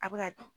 A bɛ ka